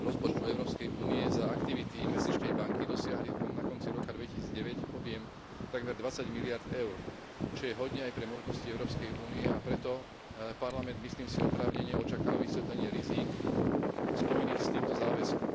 rozpočtu Európskej únie za aktivity Investičnej banky dosiahli na konci roka 2009 objem takmer 20 miliárd EUR, čo je hodne aj pre možnosti Európskej únie, a preto Parlament, myslím si, oprávnene očakáva vysvetlenie rizík spojených s týmto záväzkom.